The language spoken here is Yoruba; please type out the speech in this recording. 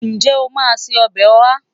Ǹjẹ́ o máa se ọbẹ̀ Oha?